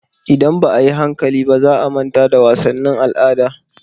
Idan ba a yi hankali ba, za a manta da wasannin al'ada.